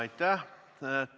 Aitäh!